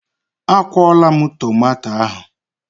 A kwụọla m tomato ahụ.